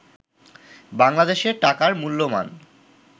বাংলাদেশের টাকার মূল্যমান